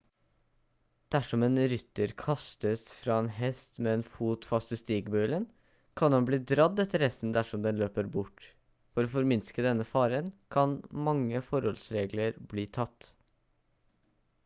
dersom en rytter kastes fra en hest med en fot fast i stigbøylen kan han bli dradd etter hesten dersom den løper bort for å forminske denne faren kan mange forholdsregler bli tatt